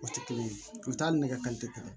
O tɛ kelen ye ni nɛgɛ kanɲɛ kelen